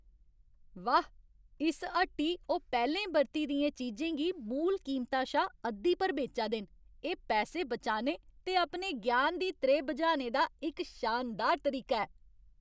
वाह्! इस हट्टी ओह् पैह्लें बरती दियें चीजें गी मूल कीमता शा अद्धी पर बेचा दे न। एह् पैसे बचाने ते अपने ज्ञान दी त्रेह् बुझाने दा इक शानदार तरीका ऐ।